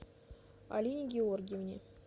алине георгиевне